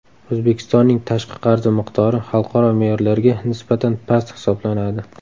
O‘zbekistonning tashqi qarzi miqdori xalqaro me’yorlarga nisbatan past hisoblanadi.